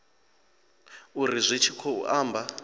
uri zwi tshi khou amba